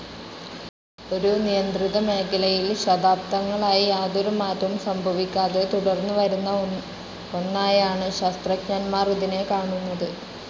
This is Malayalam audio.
ഒരു നിയന്ത്രിതമേഖലയിൽ ശതാബ്ദങ്ങളായി യാതൊരുമാറ്റവും സംഭവിക്കാതെ തുടർന്നുവരുന്ന ഒന്നായാണ് ശാസ്ത്രജ്ഞർമാർ ഇതിനെ കാണുന്നത്.